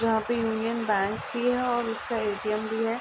यहा पे Union Bank भी है। और उसका ए.टी.एम. भी है।